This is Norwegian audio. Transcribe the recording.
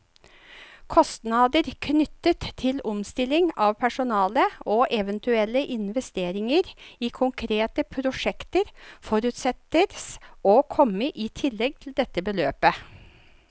Kostnader knyttet til omstilling av personale, og eventuelle investeringer i konkrete prosjekter, forutsettes å komme i tillegg til dette beløp.